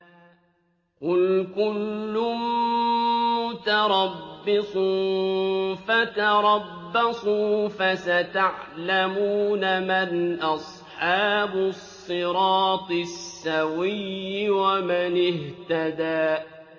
قُلْ كُلٌّ مُّتَرَبِّصٌ فَتَرَبَّصُوا ۖ فَسَتَعْلَمُونَ مَنْ أَصْحَابُ الصِّرَاطِ السَّوِيِّ وَمَنِ اهْتَدَىٰ